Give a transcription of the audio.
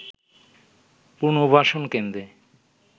পুর্ণবাসন কেন্দ্রে